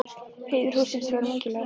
Heiður hússins var mikilvægari en svo.